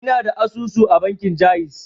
Ina da asusu a bankin ja'iz.